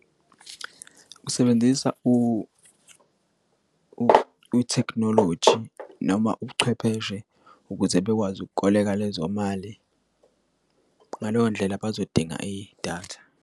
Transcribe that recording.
Ukusebenzisa ithekhinoloji noma ubuchwepheshe ukuze bekwazi ukoleka lezo mali ngaleyo ndlela bazodinga idatha.